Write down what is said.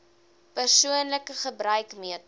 persoonlike gebruik meter